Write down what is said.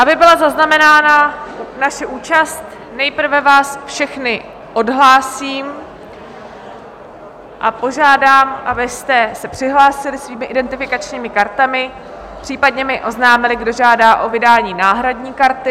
Aby byla zaznamenána naše účast, nejprve vás všechny odhlásím a požádám, abyste se přihlásili svými identifikačními kartami, případně mi oznámili, kdo žádá o vydání náhradní karty.